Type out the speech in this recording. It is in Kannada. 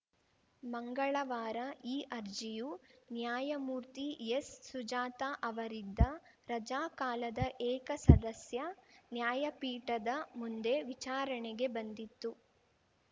ಮಂಗಳವಾರ ಈ ಅರ್ಜಿಯು ನ್ಯಾಯಮೂರ್ತಿ ಎಸ್‌ಸುಜಾತ ಅವರಿದ್ದ ರಜಾಕಾಲದ ಏಕಸದಸ್ಯ ನ್ಯಾಯಪೀಠದ ಮುಂದೆ ವಿಚಾರಣೆಗೆ ಬಂದಿತ್ತು